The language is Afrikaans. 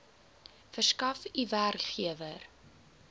verskaf u werkgewer